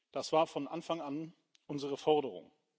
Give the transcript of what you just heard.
Das war von Anfang an unsere Forderung.